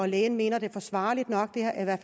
lægen mener det er forsvarligt nok